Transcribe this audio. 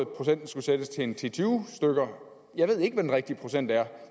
procenten skulle sættes til ti til tyve stykker jeg ved ikke hvad den rigtige procent er